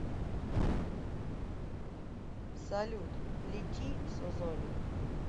салют лети созоник